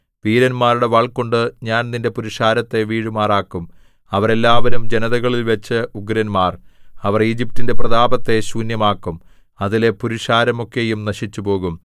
വീരന്മാരുടെ വാൾകൊണ്ടു ഞാൻ നിന്റെ പുരുഷാരത്തെ വീഴുമാറാക്കും അവരെല്ലാവരും ജനതകളിൽവച്ച് ഉഗ്രന്മാർ അവർ ഈജിപ്റ്റിന്റെ പ്രതാപത്തെ ശൂന്യമാക്കും അതിലെ പുരുഷാരമൊക്കെയും നശിച്ചുപോകും